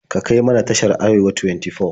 Ka kai mana tashar Arewa 24.